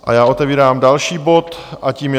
A já otevírám další bod a tím je